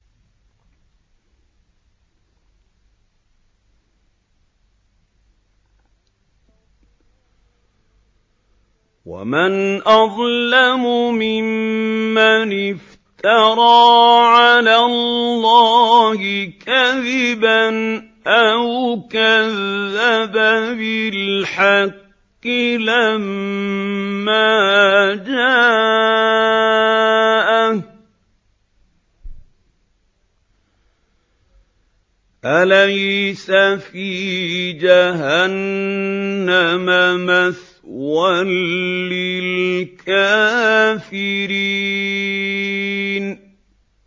وَمَنْ أَظْلَمُ مِمَّنِ افْتَرَىٰ عَلَى اللَّهِ كَذِبًا أَوْ كَذَّبَ بِالْحَقِّ لَمَّا جَاءَهُ ۚ أَلَيْسَ فِي جَهَنَّمَ مَثْوًى لِّلْكَافِرِينَ